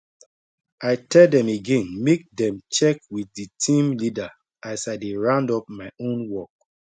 i tell dem again make dem check with d team leader as i dey round up my own work